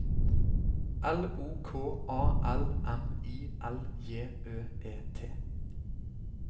L O K A L M I L J Ø E T